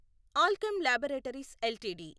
Alkem laboratories LTD